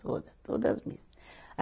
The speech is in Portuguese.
Toda, todas missa. a